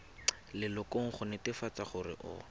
lelokong go netefatsa gore o